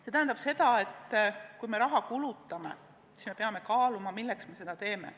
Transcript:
See tähendab seda, et kui me raha kulutame, siis peame hoolega kaaluma, milleks me seda teeme.